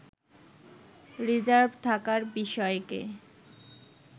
reserve থাকার বিষয়কে